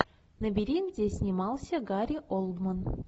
набери где снимался гари олдман